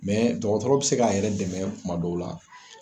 dɔgɔtɔrɔ be se ka yɛrɛ dɛmɛ kuma dɔw la